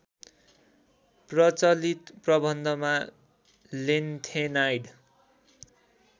प्रचलित प्रबन्धमा लेन्थेनाइड